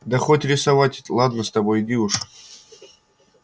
да хоть рисовать ладно с тобой иди уж